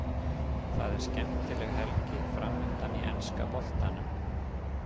Það er skemmtileg helgi framundan í enska boltanum.